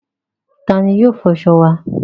Ta ni yóò fọṣọ wa?